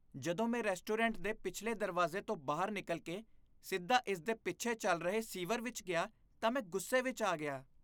ਜਦੋਂ ਮੈਂ ਰੈਸਟੋਰੈਂਟ ਦੇ ਪਿਛਲੇ ਦਰਵਾਜ਼ੇ ਤੋਂ ਬਾਹਰ ਨਿਕਲ ਕੇ ਸਿੱਧਾ ਇਸ ਦੇ ਪਿੱਛੇ ਚੱਲ ਰਹੇ ਸੀਵਰ ਵਿੱਚ ਗਿਆ ਤਾਂ ਮੈਂ ਗੁੱਸੇ ਵਿੱਚ ਆ ਗਿਆ।